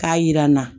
K'a yira n na